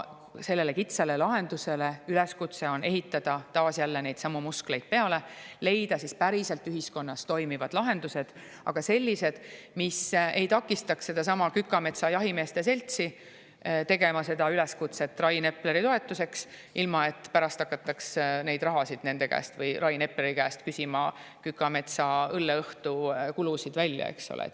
Üleskutse on ehitada sellele kitsale lahendusele neidsamu muskleid peale, leida ühiskonnas päriselt toimivad lahendused, aga sellised, mis ei takistaks sellelsamal Kükametsa jahimeeste seltsil teha üleskutset Rain Epleri toetuseks, ilma et pärast hakataks neid rahasid, Kükametsa õlleõhtu kulusid, nende käest või Rain Epleri käest välja küsima, eks ole.